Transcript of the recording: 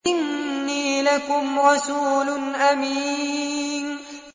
إِنِّي لَكُمْ رَسُولٌ أَمِينٌ